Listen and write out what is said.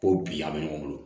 Ko bi a bɛ ɲɔgɔn bolo